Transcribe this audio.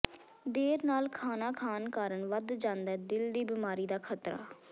ਦੇਰ ਨਾਲ ਖਾਣਾ ਖਾਣ ਕਾਰਣ ਵਧ ਜਾਂਦੈ ਦਿਲ ਦੀ ਬੀਮਾਰੀ ਦਾ ਖਤਰਾ